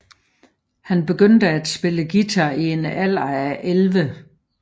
Han begyndte at spille guitar i en alder af 11